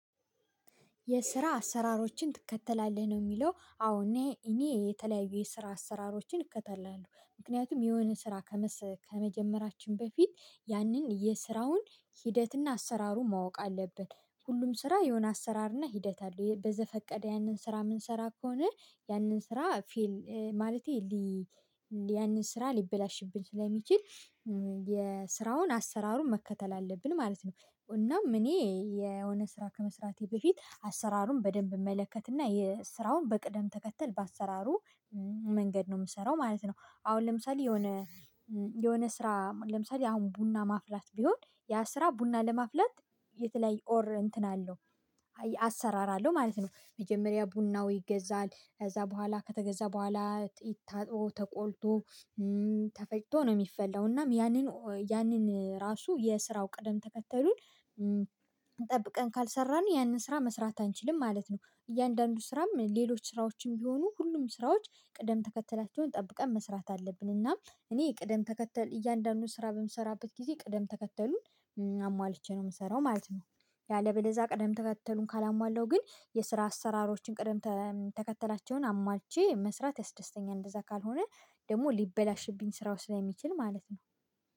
የስራ አሰራሮችን ትከተላለህ ነው? የሚለው አዎ እኔ እኔ የተለያዩ የስራ አሰራሮችን እከተላለሁ ምክንያቱም የሆነ ስራ። ከመጀመራችን በፊት ያንን የስራውን ሂደትና አሰራሩ ማወቅ አለብን ሁሉም ስራ የሆነ አሰራርና ሂደት አለው በዘፈቀደ ያንን ስራ የምንሰራ ከሆነ ያንን ስራ ፌል ማለቴ ያንን ስራ ሊበላሽብኝ ስለሚችል የስራውን አሰራሩን መከተል አለብን ማለት ነው። እናም እኔ የሆነ ስራ ከመስራቴ በፊት አሰራሩን በደንብ እመለከትና የስራውን በቅደም ተከተል በአሰራሩ መንገድ ነው የምሰራው ማለት ነው። አሁን ለምሳሌ የሆነ የሆነ ስራ ለምሳሌ አሁን ቡና ማፍላት ቢሆን ያ ስራ ቡና ለማፍላት የተለያየ ኦር እንትን አለው አሰራር አለው ማለት ነው። መጀመሪያ ቡናው ይገዛል ከዛ በኋላ ከተገዛ በኋላ ይታጠው ተቆልቶ ተፈጭቶ ነው የሚፈለው እናም ያንን ያንን ራሱ የስራው ቅደም ተከተሉን። ጠብቀን ካልሰራን ያንን ስራ መስራት አንችልም ማለት ነው። እያንዳንዱ ስራም ሌሎች ስራዎችም ቢሆኑ ሁሉም ስራዎች ቅደም ተከተላቸውን ጠብቀን መስራት አለብን። እና እኔ ቅደም ተከተል እያንዳንዱን ስራ በምሰራበት ጊዜ ቅደም ተከተሉን አሟልቼ ነው የምሰራው ማለት ነው። ያለበለዛ ቀደም ተከተሉን ካላሟላው ግን የስራ አሰራሮችን ቀደም ተከተላቸውን አሟልቼ መስራት ያስደስተኛል። እንደዛ ካልሆነ ደግሞ ሊበላሽብኝ ስራው ስለሚችል ማለት ነው